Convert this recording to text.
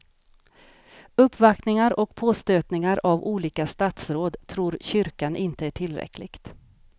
Uppvaktningar och påstötningar av olika statsråd tror kyrkan inte är tillräckligt.